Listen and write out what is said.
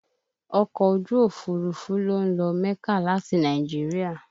Ọkọ̀ ojú Òfurufú ló ń lọ mẹ́kà láti Nàìjíríà